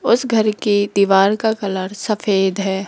उस घर के दीवार का कलर सफेद है।